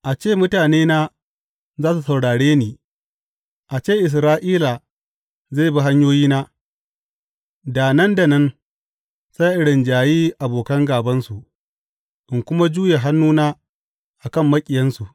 A ce mutanena za su saurare ni, a ce Isra’ila zai bi hanyoyina, da nan da nan sai in rinjayi abokan gābansu in kuma juye hannuna a kan maƙiyansu!